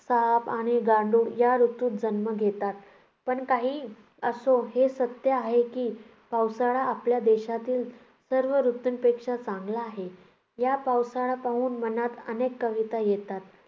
साप आणि गांडूळ या ऋतूत जन्म घेतात. पण काहीही असो हे सत्य आहे, की पावसाळा आपल्या देशातील सर्व ऋतूंपेक्षा चांगला आहे. या पावसाला पाहून मनात अनेक कविता येतात.